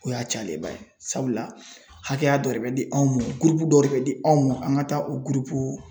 O y'a cayalenba ye sabula hakɛya dɔ de bɛ di anw mɔ dɔ de bɛ di anw mɔ an ka taa o